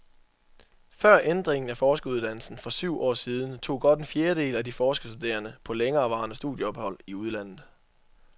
Før ændringen af forskeruddannelsen i for syv år siden tog godt en fjerdedel af de forskerstuderende på længerevarende studieophold i udlandet.